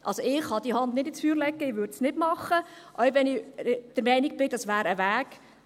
Also ich kann die Hand nicht ins Feuer legen, ich würde es nicht machen, auch wenn ich der Meinung bin, dass dies ein Weg wäre.